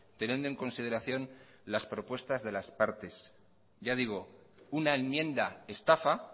teniendo en consideración las propuestas de las partes ya digo una enmienda estafa